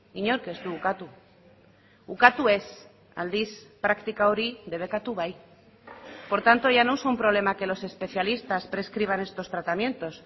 inork ez du ukatu ukatu ez aldiz praktika hori debekatu bai por tanto ya no es un problema que los especialistas prescriban estos tratamientos